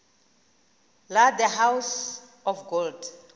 la the house of gold